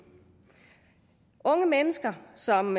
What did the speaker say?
unge mennesker som